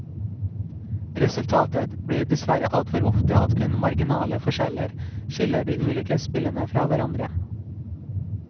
Resultatet blir dessverre altfor ofte at kun marginale forskjeller skiller de ulike spillene fra hverandre.